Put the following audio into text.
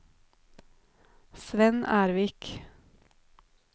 Svend Ervik